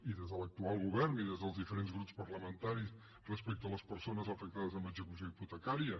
i des de l’actual govern i des dels diferents grups parlamentaris respecte a les persones afectades amb l’execució hipotecària